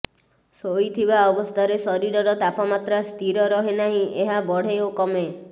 ଶୋଇଥିବା ଅବସ୍ଥାରେ ଶରୀରର ତାପମାତ୍ରା ସ୍ଥିର ରହେ ନାହିଁ ଏହା ବଢ଼େ ଓ କମେ